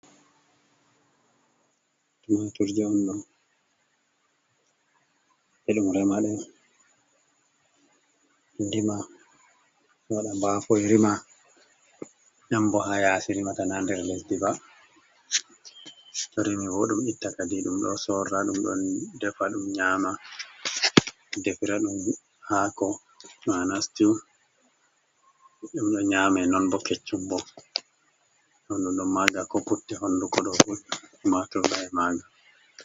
Tumaturje on, bedum rema dum, rima wada bafo rima denbo ha yasi rimata na der lesdi ba, to remi bo dum ittaka di dum do sorra dum, do defa dum nyama defira dum hako mana stiw, dum do nyama nonbo keccum bo, non dum do maga ko putte honduko do, maturdae maga.